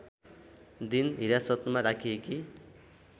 दिन हिरासतमा राखिएकी